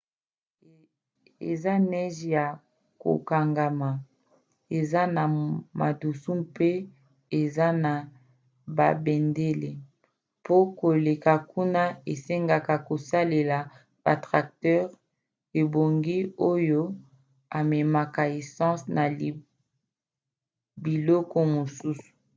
eza neige ya kokangama eza na madusu mpe eza na babendele. mpo koleka kuna esengaka kosalela batracteurs ebongi oyo ememaka essence na biloko mosusu